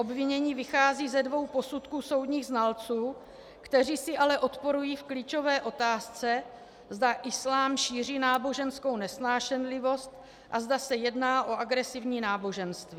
Obvinění vychází ze dvou posudků soudních znalců, kteří si ale odporují v klíčové otázce, zda islám šíří náboženskou nesnášenlivost a zda se jedná o agresivní náboženství.